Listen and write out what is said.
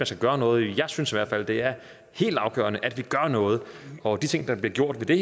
skal gøre noget jeg synes i hvert fald det er helt afgørende at vi gør noget og de ting der bliver gjort ved